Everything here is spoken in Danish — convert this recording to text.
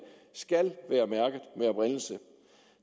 skal være mærket med oprindelse